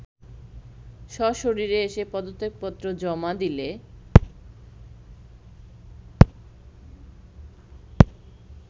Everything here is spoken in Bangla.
সশরীরে এসে পদত্যাপত্র জমা দিলে